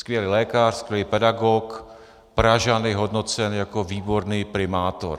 Skvělý lékař, skvělý pedagog, Pražany hodnocen jako výborný primátor.